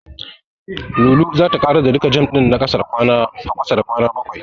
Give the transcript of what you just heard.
Lulu zata ƙarar da duka jam ɗin a ƙasa da kwana bakwai.